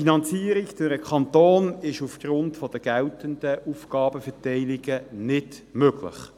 – Eine Finanzierung durch den Kanton ist aufgrund der geltenden Aufgabenverteilungen nicht möglich.